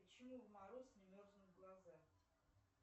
почему в мороз не мерзнут глаза